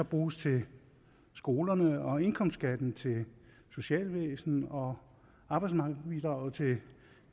bruges til skolerne og indkomstskatten til socialvæsenet og arbejdsmarkedsbidraget til